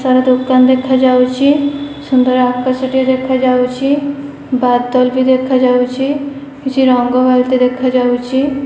ତାର ଦୋକାନ ଦେଖାଯାଉଚି। ସୁନ୍ଦର ଆକାଶଟିଏ ଦେଖାଯାଉଚି। ବାଦଲ ବି ଦେଖାଯାଉଚି। କିଛି ରଂଗ ବାଲତି ଦେଖାଯାଉଚି।